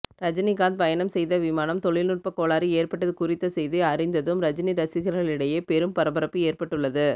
ரஜினிகாந்த் பயணம் செய்த விமானம் தொழில்நுட்ப கோளாறு ஏற்பட்டது குறித்த செய்தி அறிந்ததும் ரஜினி ரசிகர்களிடையே பெரும் பரபரப்பு ஏற்பட்டுள்ளது